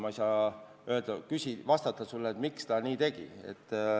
Ma ei saa sulle vastata, miks ta nii tegi.